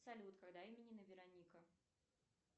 салют когда именины вероника